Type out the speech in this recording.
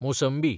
मोसंबी